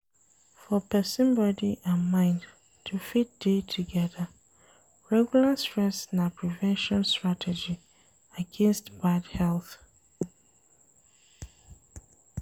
For person body and mind to fit dey together, regular stress na prevention strategy against bad health